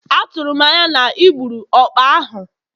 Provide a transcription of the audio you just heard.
Atụrụ m anya na ị gburu ọkpa ahụ?